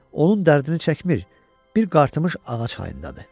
Onun dərdini çəkmir, bir qartımış ağac hayındadır.